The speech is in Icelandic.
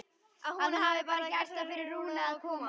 Að hún hafi bara gert það fyrir Rúnu að koma.